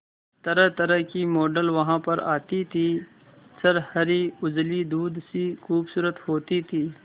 तरहतरह की मॉडल वहां पर आती थी छरहरी उजली दूध सी खूबसूरत होती थी